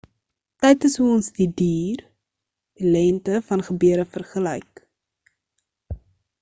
tyd is hoe ons die duur lengte van gebeure vergelyk